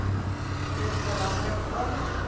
dit belangrik om